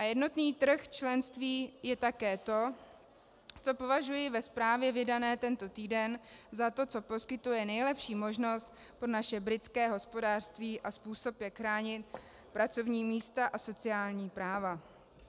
A jednotný trh členství je také to, co považuji ve zprávě vydané tento týden za to, co poskytuje nejlepší možnost pro naše britské hospodářství a způsob, jak chránit pracovní místa a sociální práva.